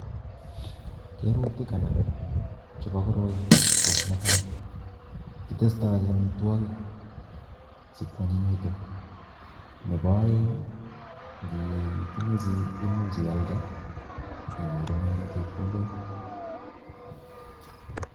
Kerutik anan chepo koroi, ko netai kitestoi amitwogik si kuanyinyitu, nebo oeng ngi tinye chii ko much ialde inyorune chepkondok